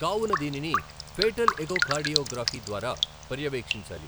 కావున దీనిని fetal echocardiography ద్వారా పర్యవేక్షించాలి.